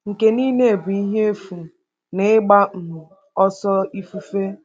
“Nke niile bụ ihe efu na ịgba um ọsọ ifufe.”